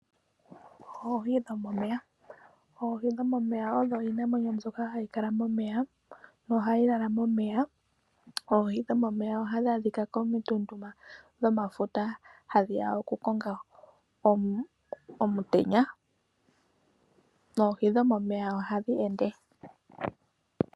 Oohi dhomomeya odho iinamwenyo mbyoka hayi kala momeya, nohayi lala momeya. Oohi dhomomeya ohadhi adhika komituntu dhomafuta, hadhi ya okukonga omutenya. Oohi dhomomeya ohadhi ende.